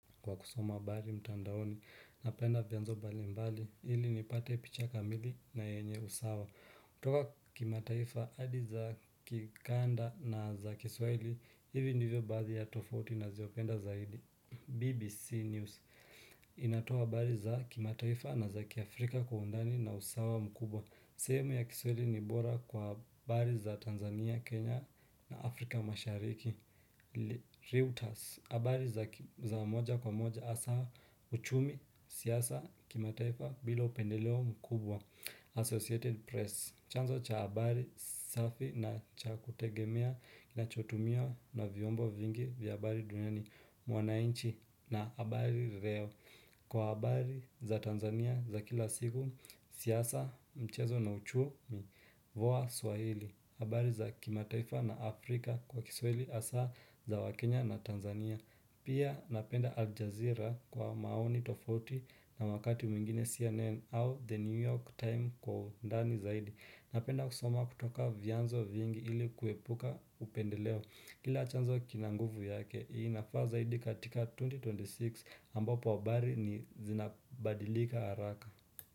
Kwa kusoma habari mtandaoni napenda vianzo mbali mbali ilinipate picha kamili na yenye usawa. Kutoka kimataifa adi za kikanda na za kiswahili. Hivi ndivyo baadhi ya tofauti nazopenda zaidi. BBC News inatoa habari za kimataifa na za kiafrika kwa undani na usawa mkubwa sehemu ya kiswahili ni bora kwa habari za Tanzania, Kenya na Afrika mashariki Reuters habari za moja kwa moja hasa uchumi siasa kimataifa bila upendeleo mkubwa Associated Press chanzo cha habari safi na cha kutegemea nachotumiwa na viombo vingi vya habari duniani mwanainchi na habari reo. Kwa habari za Tanzania za kila siku siasa, mchezo na uchumi voa Swahili habari za kimataifa na Afrika kwa kiswahili hasa za wakenya na Tanzania Pia napenda Al Jazeera kwa maoni tofauti na wakati mwingine CNN au The New York time kwa undani zaidi. Napenda kusoma kutoka vianzo vyingi ili kuepuka upendeleo Kila chanzo kina nguvu yake, inafaa zaidi katika 2026 ambapo habari ni zinabadilika haraka.